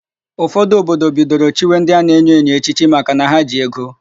Ụfọdụ obodo bidoro chiwe ndị a na-enyo enyo echichi makana ha ji ego.